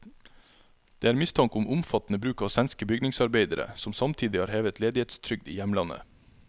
Det er mistanke om omfattende bruk av svenske bygningsarbeidere, som samtidig har hevet ledighetstrygd i hjemlandet.